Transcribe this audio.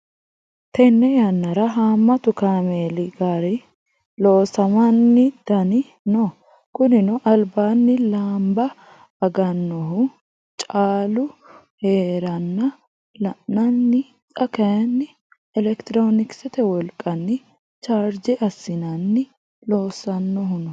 Tene yannara hamatu kaameeli gari loosamanni daani no kunino albaani lamba aganohu callu heeranna la'nanni xa kayinni elekitironkisete wolqanni charge assinenna loossanohu no.